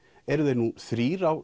eru þeir nú þrír á